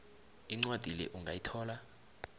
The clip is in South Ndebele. incwadi le ungayithola